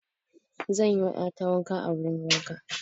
Zan yi wa ƴa ta wanka a wurin wanka.